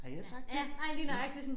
Har jeg sagt det? ja